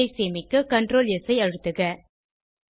file ஐ சேமிக்க Ctrl S ஐ அழுத்துக